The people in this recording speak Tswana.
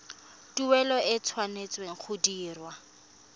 tuelo e tshwanetse go dirwa